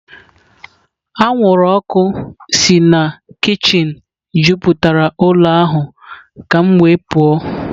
Anwụrụ ọkụ si na kichin juputara ụlọ ahụ ka m wee pụọ.